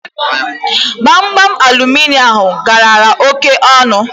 Gbamgbam aluminịọmụ ahụ galara óké ọnụ